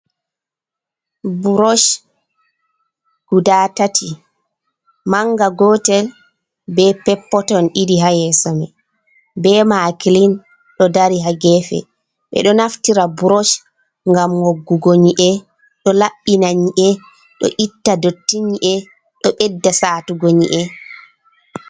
Brosh guda tati manga gotel be pep-poton ɗiɗi ha yeso mai be makilin ɗo dari ha gefe. Ɓeɗo naftira brosh ngam woggugo nyi'e, ɗo laɓɓina nyi'e, ɗo itta dotti nyi'e, ɗo ɓedda satugo nyi'e.